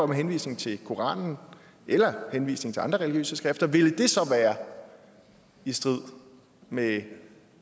med henvisning til koranen eller henvisning til andre religiøse skrifter ville det så være i strid med